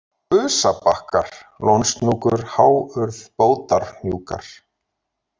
Busabakkar, Lónshnúkur, Háurð, Bótarhnjúkar